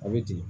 A bɛ ten